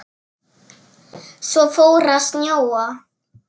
Svo fór að snjóa.